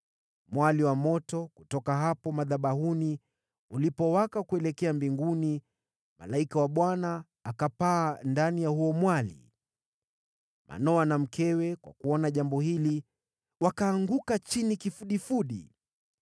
Mwali wa moto kutoka hapo madhabahuni ulipowaka kuelekea mbinguni, malaika wa Bwana akapaa ndani ya huo mwali. Manoa na mkewe, kwa kuona jambo hili, wakaanguka chini kifudifudi.